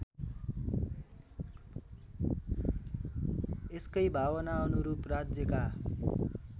यसकै भावनाअनुरूप राज्यका